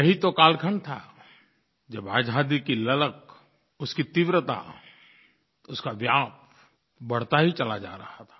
यही तो कालखंड था जब आज़ादी की ललक उसकी तीव्रता उसका व्याप बढ़ता ही चला जा रहा था